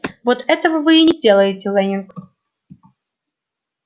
вот этого вы и не сделаете лэннинг